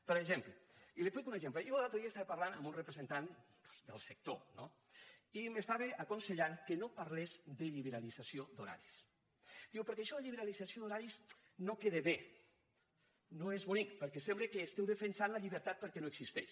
per exemple i li’n poso un exemple jo l’altre dia estava parlant amb un representant doncs del sector no i m’estava aconsellant que no parlés de liberalització d’horaris diu perquè això de la liberalització d’horaris no queda bé no és bonic perquè sembla que estigueu defensant la llibertat perquè no existeix